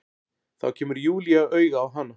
Þá kemur Júlía auga á hana.